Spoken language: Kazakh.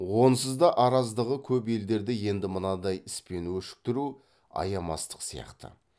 онсыз да араздығы көп елдерді енді мынадай іспен өшіктіру аямастық сияқты